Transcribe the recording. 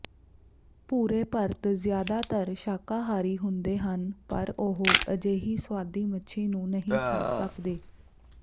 ਭੂਰੇ ਪਰਤ ਜ਼ਿਆਦਾਤਰ ਸ਼ਾਕਾਹਾਰੀ ਹੁੰਦੇ ਹਨ ਪਰ ਉਹ ਅਜਿਹੀ ਸੁਆਦੀ ਮੱਛੀ ਨੂੰ ਨਹੀਂ ਛੱਡ ਸਕਦੇ